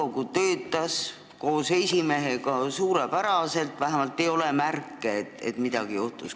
Nõukogu töötas koos esimehega suurepäraselt, vähemalt ei olnud märke, et midagi oleks juhtunud.